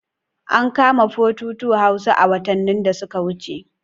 An kama 422 Hausa a watannin da suka wuce.